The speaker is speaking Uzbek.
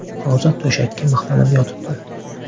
Hozir to‘shakka mixlanib yotibdi.